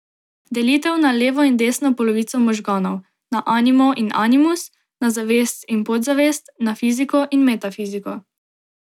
Delitev na levo in desno polovico možganov, na animo in animus, na zavest in podzavest, na fiziko in metafiziko.